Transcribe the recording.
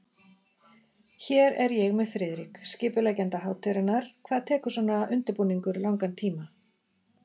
Hér er ég með Friðrik, skipuleggjanda hátíðarinnar, hvað tekur svona undirbúningur langan tíma?